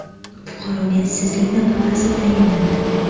Fuqaroga ishsizlik nafaqasi tayinlandi.